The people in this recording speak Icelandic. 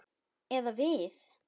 Eða við.